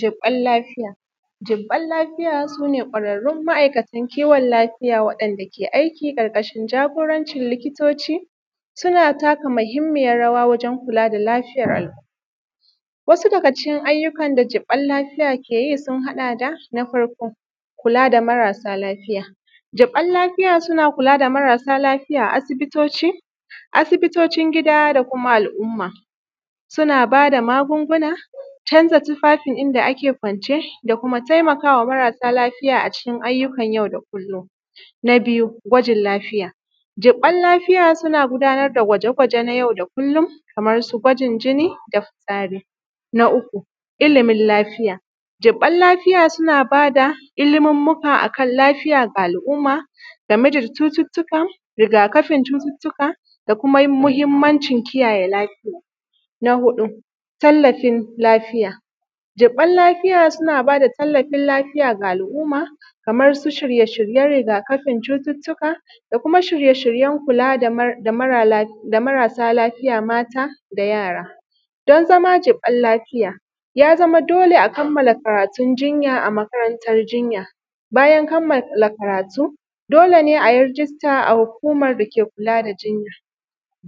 Jiɓɓan lafiya jiɓɓan lafiya sune kwararru ma’aikatan kiwon lafiya wanda ke aiki ƙarƙashin jagorancin likitoci. Suna taka mahimmiyar rawa wajen kula da lafiyan al’umma. Wasu daga cikin ayyukan da jiɓɓan lafiya keyi sun haɗa da. Na farko kula da marasa lafiya, jiɓɓan lafiya suna kulada marasa lafiya a asibitocin gida da kuma al’umma suna bada magunguna canza tufafin inda ake kwance da kuma taimakawa marasa lafiya a cikin ayyukan yau da kullum. Na biyu gwajin lafiya jiɓɓan lafiya suna gudanar da gwaje gwaje na yau da kullum kamar su gwajin jini da fitsari. Na uku ilimin lafiya jiɓɓan lafiya suna bada ilimummuka akan lafiya ga al’umma game da cututtukan, riga kafin cututtukan da kuma mahimmancin kiyaye lafiyan. Na huɗu tallafin lafiyan jiɓɓan lafiya suna bada tallafin lafiya ga al’umma kamansu shirye shiryen riga kafin cututtuka da kuma shirye shiryen kula da marasa lafiya mata da yara. Don zama jiɓɓan lafiya ya zama dole a kammala karatun jinya a makarantan jinya, bayan kammala karatu, dole ne ayi rijista a hukumar dake kula da jinya.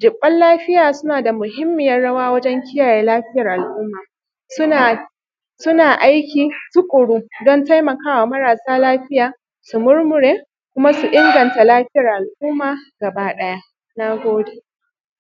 Jiɓɓan lafiya sunada mahimmiyar rawa wajen kiyaye lafiyar al’umma. Suna aiki tuƙuru dan taimakawa marasa lafiya su murmure kuma su inganta lafiyar al’umma gaba ɗaya. Nagode